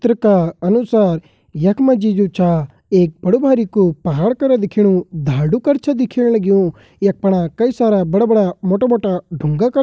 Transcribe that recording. चित्र का अनुसार यखमा जी जो छा एक बडु-भारिकु पहाड़ करा दिख्याणु धाडू कर छा दिख्येण लगयूं यक पणा कई सारा बड़ा-बड़ा मोटा-मोटा ढूँगा कर --